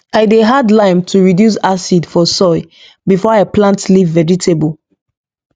i dey add lime to reduce acid for soil before i plant leaf vegetable